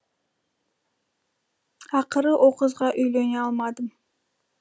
ақыры о қызға үйлене алмадым